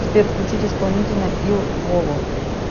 сбер включить исполнителя ил воло